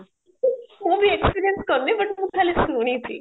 ମୁଁ ବି experience କାରିଣୀ but ମୁଁ ଖାଲି ଶୁଣିଛି